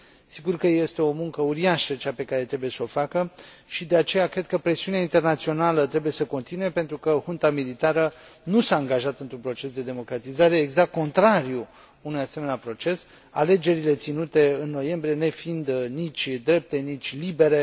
Sigur că este o muncă uriașă cea pe care trebuie să o facă și, de aceea, cred că presiunea internațională trebuie să continue pentru că junta militară nu s a angajat într un proces de democratizare, ci exact contrariul unui asemenea proces, alegerile ținute în noiembrie nefiind nici drepte, nici libere.